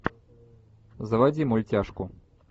заводи мультяшку